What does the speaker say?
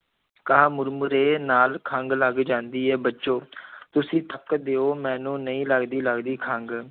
ਕਿਹਾ ਮੁਰਮੁਰੇ ਨਾਲ ਖੰਘ ਲੱਗ ਜਾਂਦੀ ਹੈ ਬੱਚੋ ਤੁਸੀਂ ਤੱਕ ਦਿਓ ਮੈਨੂੰ ਨਹੀਂ ਲੱਗਦੀ ਲੱਗਦੀ ਖੰਘ।